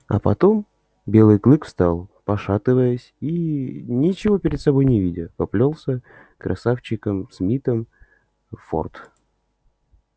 а потом белый клык встал пошатываясь и ничего перед собой не видя поплёлся красавчиком смитом в форт